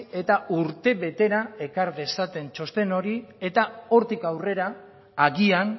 eta urtebetera ekar dezaten txosten hori eta hortik aurrera agian